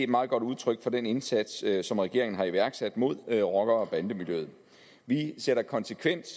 meget godt udtryk for den indsats som regeringen har iværksat mod rocker og bandemiljøet vi sætter konsekvent